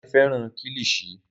Dare fẹràn kilishi.